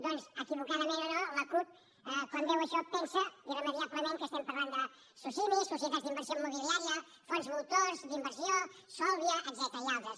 doncs equivocadament o no la cup quan veu això pensa irremeiablement que estem parlant de socimis societats d’inversió immobiliària fons voltors d’inversió solvia etcètera i altres